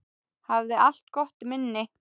Hafði alltaf gott minni.